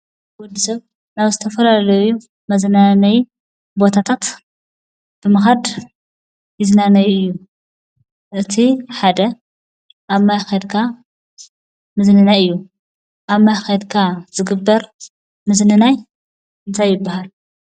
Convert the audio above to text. ወዲ ሰብ ናብ ዝተፈላለዩ መዝናነዪ ቦታታት ብምኻድ ይዝናነ እዩ ። እቲ ሓደ ኣብ ማይ ከይድካ ምዝንናይ እዩ ። ኣብ ማይ ከይድካ ዝግበር ምዝንናይ እንታይ ይበሃል?